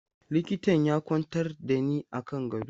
Likitan ya kwantar da ni a kan gado.